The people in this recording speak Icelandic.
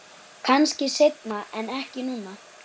Kannski seinna en ekki núna.